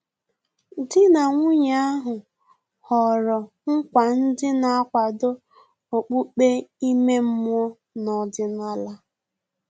Dị na nwunye ahu họrọ nkwa ndị na-akwado okpukpe ime mmụọ na ọdịnala